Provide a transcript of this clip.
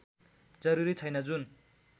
जरूरी छैन जुन